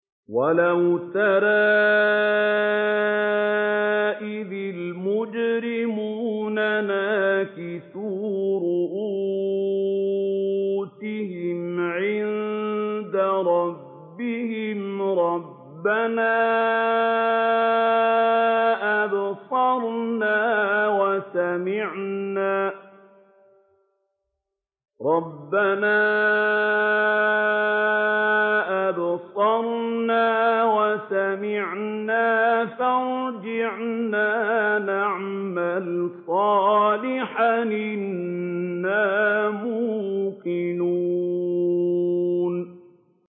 وَلَوْ تَرَىٰ إِذِ الْمُجْرِمُونَ نَاكِسُو رُءُوسِهِمْ عِندَ رَبِّهِمْ رَبَّنَا أَبْصَرْنَا وَسَمِعْنَا فَارْجِعْنَا نَعْمَلْ صَالِحًا إِنَّا مُوقِنُونَ